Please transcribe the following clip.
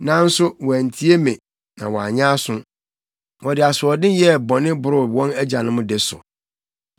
Nanso wɔantie me na wɔanyɛ aso. Wɔde asoɔden yɛɛ bɔne boroo wɔn agyanom de so.’